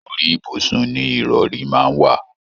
Orí ibùsùn ni ìrọ̀rí máa ń wà.